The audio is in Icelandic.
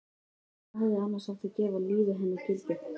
Hvað hefði annars átt að gefa lífi hennar gildi?